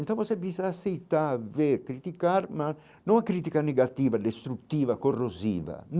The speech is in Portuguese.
Então você precisa aceitar, ver, criticar, mas não a crítica negativa, destructiva, corrosiva.